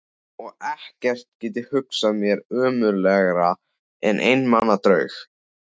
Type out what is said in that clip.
Og ekkert get ég hugsað mér ömurlegra en einmana draug.